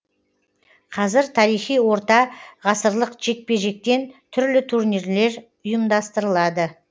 қазір тарихи орта ғасырлық жекпе жектен түрлі турнирлер ұйымдастырылады